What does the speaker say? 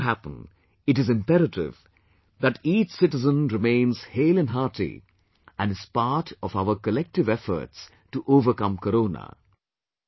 For this to happen, it is imperative that each citizen remains hale & hearty and is part of our collective efforts to overcome Corona